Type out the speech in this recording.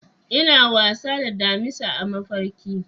Ina wasa da damisa a mafarki.